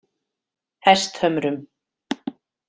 Hesthömrum